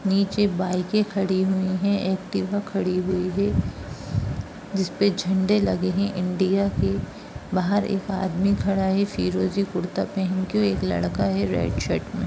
नीचे बाइके खड़ी हुई है एक्टिवा खड़ी हुई है जिसपे झंडे लगे हैं इंडिया के| बाहर एक आदमी खड़ा है फिरोज़ी कुरता पेहेन कर और एक लड़का खड़ा है रेड शर्ट में।